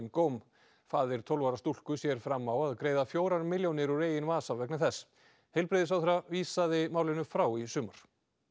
góm faðir tólf ára stúlku sér fram á að greiða fjórar milljónir úr eigin vasa vegna þess heilbrigðisráðherra vísaði málinu frá í sumar